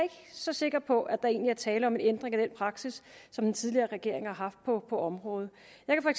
så sikker på at der egentlig er tale om en ændring af den praksis som den tidligere regering har haft på området